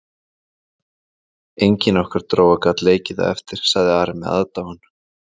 Engin okkar dróga gat leikið það eftir, sagði Ari með aðdáun.